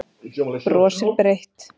Brosir breitt.